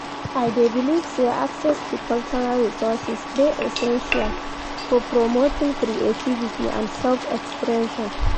I dey believe say access to cultural resourses dey essential for promoting creativity and self-expression.